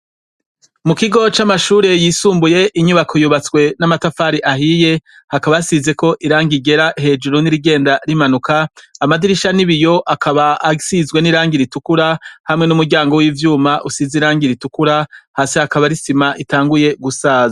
Mu kigo c'amashure yisumbuye inyubako yubatswe n'amatafari ahiye, hakaba hasizeko irangi ryera hejuru n'irigenda rimanuka, amadirisha ni ibiyo akaba asizwe n'irangi ritukura, hamwe n'umuryango w'ivyuma usize irangi ritukura, hasi hakaba hari isima iyanguye gusaza.